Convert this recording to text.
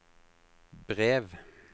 brev